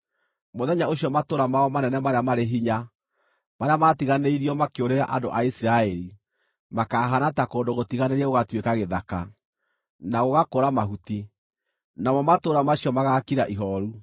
Mũthenya ũcio matũũra mao manene marĩa marĩ hinya, marĩa maatiganĩirio makĩũrĩra andũ a Isiraeli, makahaana ta kũndũ gũtiganĩrie gũgatuĩka gĩthaka, na gũgakũra mahuti. Namo matũũra macio magaakira ihooru.